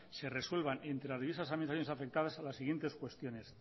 se resuelvan entre las diversas administraciones afectadas las siguientes cuestiones